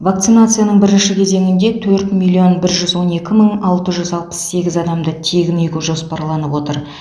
вакцинацияның бірінші кезеңінде төрт миллион бір жүз он екі мың алты жүз алпыс сегіз адамды тегін егу жоспарланып отыр